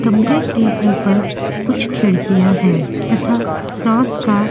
कमरे के ऊपर कुछ खिड़कियां है तथा रास का --